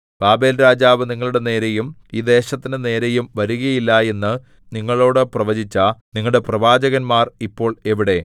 ബാബേൽരാജാവ് നിങ്ങളുടെ നേരെയും ഈ ദേശത്തിന്റെ നേരെയും വരുകയില്ല എന്ന് നിങ്ങളോടു പ്രവചിച്ച നിങ്ങളുടെ പ്രവാചകന്മാർ ഇപ്പോൾ എവിടെ